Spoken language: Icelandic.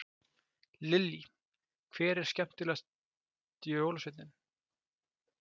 Lillý: Hver er skemmtilegast jólasveinninn?